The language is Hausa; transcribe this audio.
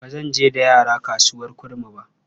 Ba zan je da yara ba kasuwar Kurmi ba.